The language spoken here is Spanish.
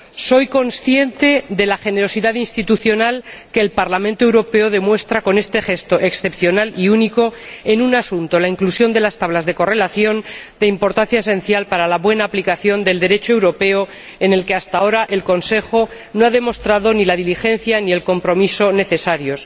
Soy consciente de la generosidad institucional que el Parlamento Europeo demuestra con este gesto, excepcional y único, en un asunto —la inclusión de las tablas de correlación— de importancia esencial para la buena aplicación del Derecho europeo, en el que, hasta ahora, el Consejo no ha demostrado ni la diligencia ni el compromiso necesarios.